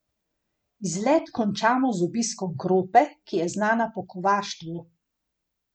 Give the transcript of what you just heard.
Izlet končamo z obiskom Krope, ki je znana po kovaštvu.